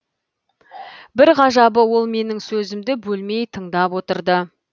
бір ғажабы ол менің сөзімді бөлмей тыңдап отырды